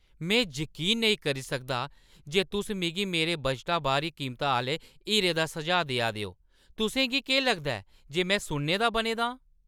में जकीन नेईं करी सकदा जे तुस मिगी मेरे बजटा बाह्‌री कीमता आह्‌ले हीरे दा सुझाऽ देआ दे ओ! तुसें गी केह् लगदा ऐ जे में सुन्ने दा बने दा आं?